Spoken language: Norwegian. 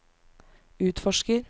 utforsker